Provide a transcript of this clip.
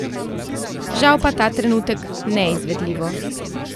Žal pa ta trenutek neizvedljivo.